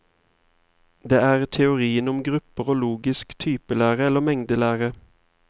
Det er teorien om grupper og logisk typelære eller mengdelære.